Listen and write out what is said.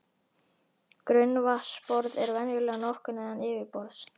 Grunnvatnsborð er venjulega nokkuð neðan yfirborðs.